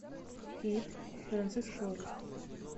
кид францэсколи